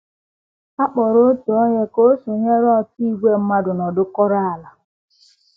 A kpọrọ otu onye ka o sonyere otu ìgwè mmadụ nọdụkọrọ ala.